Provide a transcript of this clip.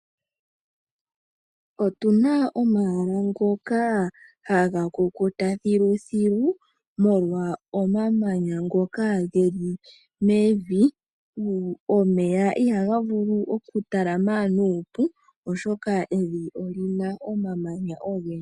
Otuna omayala ngamwe ngoka haga kukuta molwa omamanya ngoka geli mevi. Molwashoka omeya ihaga vulu oku talama nuupu oshoka evi olina omamanya ogendji.